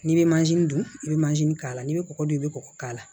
N'i bɛ mansin dun i bɛ mansin k'a la n'i bɛ kɔgɔ dun i bɛ kɔgɔ k'a la